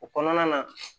O kɔnɔna na